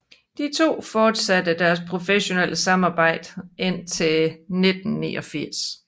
De to fortsatte deres professionelle samarbejde indtil 1989